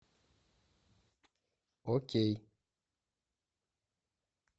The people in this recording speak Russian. окей